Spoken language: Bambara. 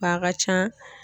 W'a ka ca